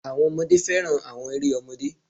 Àwọn ọmọdé fẹ́ràn àwọn eré ọmọdé.